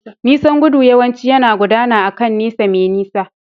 Nisan gudu yawanci yana gudana akan nesa mai nisa.